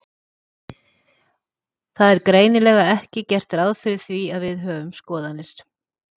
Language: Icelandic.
Það er greinilega ekki gert ráð fyrir því að við höfum skoðanir.